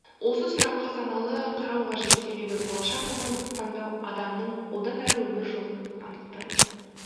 осы сұраққа саналы қарау қажет себебі болашақ мамандықты таңдау адамның одан әрі өмір жолын анықтайды